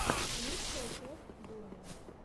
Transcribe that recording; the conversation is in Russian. лучшая часть доми